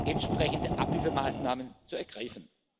und entsprechende Abhilfemaßnahmen zu ergreifen.